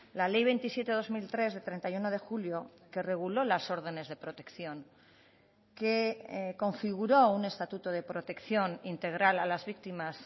la ley veintisiete barra dos mil tres de treinta y uno de julio que reguló las órdenes de protección que configuró un estatuto de protección integral a las víctimas